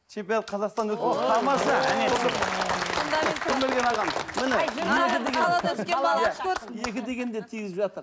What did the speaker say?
чемпионат казахстана тамаша міне екі дегенде тигізіп жатыр